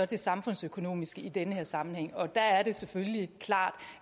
det samfundsøkonomiske i den her sammenhæng og der er det selvfølgelig klart